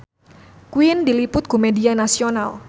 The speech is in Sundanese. Queen diliput ku media nasional